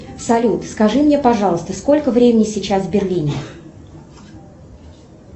салют скажи мне пожалуйста сколько времени сейчас в берлине